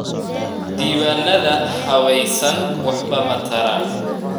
Diiwaanada habaysan waxba ma taraan.